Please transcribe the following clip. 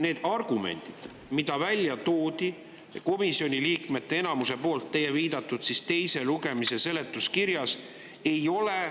Neid argumente, mis välja toodi, nagu te viitasite, komisjoni liikmete enamus, teise lugemise seletuskirjas ei ole.